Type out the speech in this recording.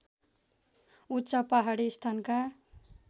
उच्च पहाडी स्थानका